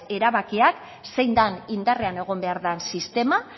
erabakiak zein den indarrean egon behar den sistema